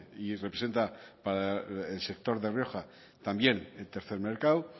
y representa para el sector de rioja también el tercer mercado